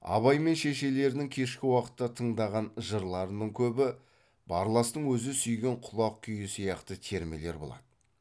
абай мен шешелерінің кешкі уақытта тыңдаған жырларының көбі барластың өзі сүйген құлақ күйі сияқты термелер болады